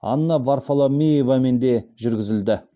анна варфоломеевамен де жүргізілді